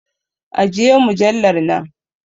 Ajiye mujallar nan!